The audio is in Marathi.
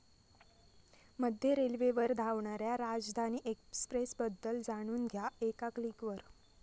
मध्य रेल्वेवर धावणाऱ्या राजधानी एक्सप्रेसबद्दल जाणून घ्या एका क्लिकवर